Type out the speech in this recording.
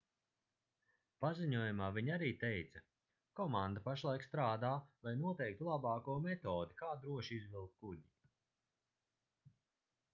paziņojumā viņi arī teica komanda pašlaik strādā lai noteiktu labāko metodi kā droši izvilkt kuģi